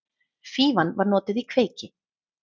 Fífan var notuð í kveiki.